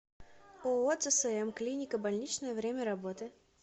ооо цсм клиника больничная время работы